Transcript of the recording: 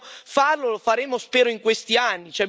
Dobbiamo farlo, lo faremo, spero in questi anni.